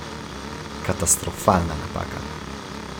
Katastrofalna napaka.